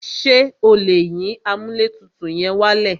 Ṣé o lè yín amúlẹ̀tutù yẹn wálẹ̀?